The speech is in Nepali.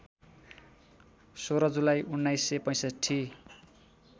१६ जुलाई १९६५